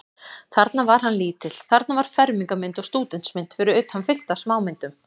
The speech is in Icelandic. Þarna var hann lítill, þarna var fermingarmynd og stúdentsmynd, fyrir utan fullt af smámyndum.